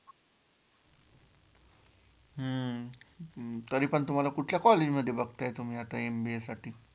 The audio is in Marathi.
हम्म तरी पण तुम्हाला कुठल्या college मध्ये बघताय तुम्ही आता MBA साठी?